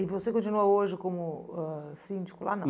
E você continua hoje como ãh síndico lá não?